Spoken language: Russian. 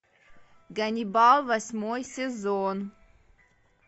ганнибал восьмой сезон